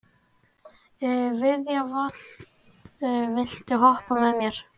Viðja, viltu hoppa með mér?